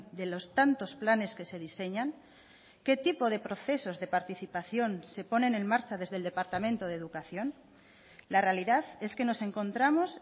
de los tantos planes que se diseñan qué tipo de procesos de participación se ponen en marcha desde el departamento de educación la realidad es que nos encontramos